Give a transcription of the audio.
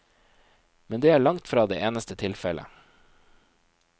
Men det er langtfra det eneste tilfellet.